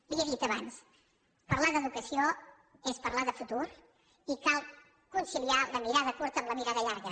li ho he dit abans parlar d’educació és parlar de futur i cal conciliar la mirada curta amb la mirada llarga